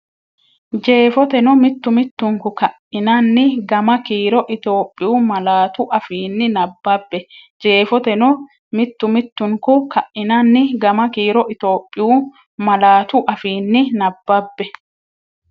Jeefoteno mittu mittunku ka’inanni gama kiiro Itiyophiyu malaatu afiinni nabbabbe Jeefoteno mittu mittunku ka’inanni gama kiiro Itiyophiyu malaatu afiinni nabbabbe.